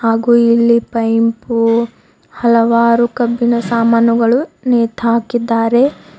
ಹಾಗೂ ಇಲ್ಲಿ ಪೈಂಪು ಹಲವಾರು ಕಬ್ಬಿಣ ಸಾಮಾನುಗಳು ನೇತಾಕಿದ್ದಾರೆ.